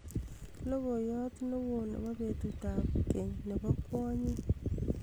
logoiyot newoo nebo betut ab ng'eny nebo kwonyik